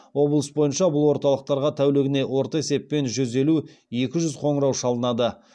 облыс бойынша бұл орталықтарға тәулігіне орта есеппен жүз елу екі жүз қоңырау шалынады